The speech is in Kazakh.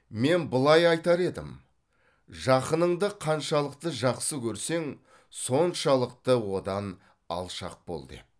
мен былай айтар едім жақыныңды қаншалықты жақсы көрсең соншалықты одан алшақ бол деп